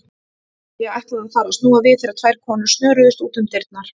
Ég ætlaði að fara að snúa við þegar tvær konur snöruðust út um dyrnar.